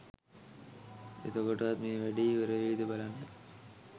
එතකොටවත් මේ වැඩේ ඉවර වෙයිද බලන්න